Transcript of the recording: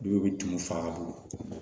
Dɔw bɛ tumu faga